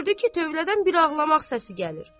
Gördü ki, tövlədən bir ağlamaq səsi gəlir.